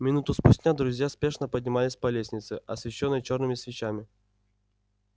минуту спустя друзья спешно поднимались по лестнице освещённой чёрными свечами